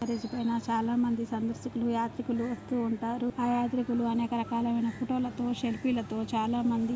చాలామంది సందర్శకులు యాత్రికులు వస్తూ ఉంటారు. ఆ యాత్రికులు అనేక రకాలమైన కపిటలతో షరిపిలతో చానా--